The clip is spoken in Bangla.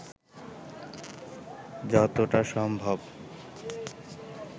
যতটা সম্ভব